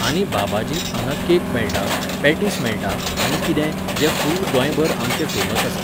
आनी बाबाजींत हांगा केक मेळटा, पॅटिस मेळटा आनी कितें, जें फुल्ल गोंयभर आमचें फेमस आसा.